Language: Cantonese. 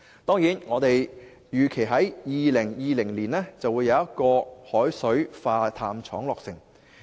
當然，我們預期在2020年會有海水化淡廠落成。